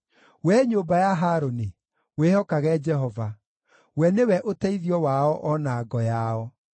Wee nyũmba ya Harũni, wĩhokage Jehova: we nĩwe ũteithio wao o na ngo yao.